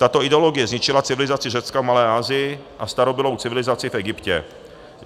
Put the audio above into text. Tato ideologie zničila civilizaci Řecka v Malé Asii a starobylou civilizaci v Egyptě.